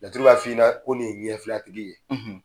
Laturu b'a f'i ɲɛna, ko nin ye ɲɛ fila tigi ye.